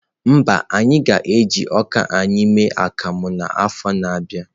Mba, anyị agaghị eji ọka anyị eme akamu n'afọ a na-abịa.